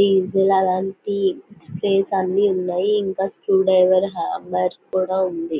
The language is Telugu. డీజిల్ అలంటి స్పేర్స్ అన్నీ ఉన్నాయి ఇంక స్క్రూ డ్రైవర్ హామ్మర్ కూడా ఉంది.